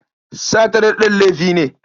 Sata daɗen laifi ne.